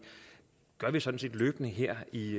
gør vi sådan set løbende her i